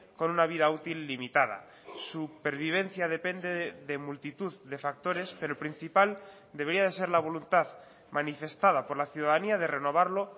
con una vida útil limitada su pervivencia depende de multitud de factores pero el principal debería de ser la voluntad manifestada por la ciudadanía de renovarlo